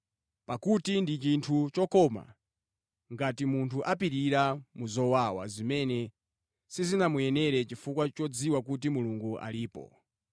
Pakuti ndi chinthu chokoma ngati munthu apirira mu zowawa zimene sizinamuyenera chifukwa chodziwa kuti Mulungu alipo.